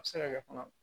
A bɛ se ka kɛ fana